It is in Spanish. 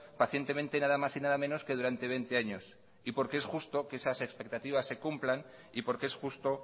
pacientemente nada más y nada menos que durante veinte años y porque es justo que esas expectativas se cumplan y porque es justo